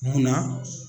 Munna